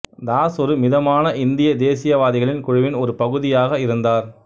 தாஸ் ஒரு மிதமான இந்திய தேசியவாதிகளின் குழுவின் ஒரு பகுதியாக இருந்தார்